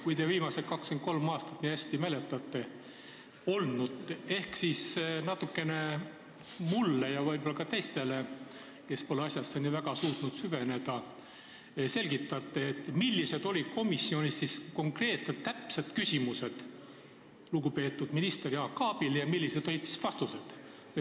Kui te viimased 23 aastat nii hästi mäletate, ehk siis selgitate natukene mulle ja võib-olla ka teistele, kes pole asjasse nii väga suutnud süveneda, millised olid komisjonis konkreetsed küsimused lugupeetud minister Jaak Aabile ja millised olid vastused.